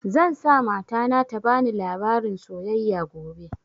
Zan sa mata na ta bani labarin soyayya gobe